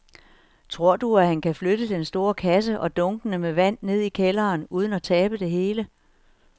Tror du, at han kan flytte den store kasse og dunkene med vand ned i kælderen uden at tabe det hele?